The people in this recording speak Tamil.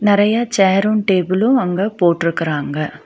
நெறைய சேர்ரு டேபிளு அங்க போட்ருக்கறாங்க.